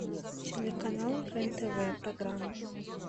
телеканал рен тв программа